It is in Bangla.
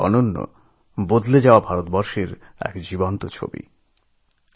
আর এটাই হল বদলে যাওয়া ভারতের জীবন্ত ছবি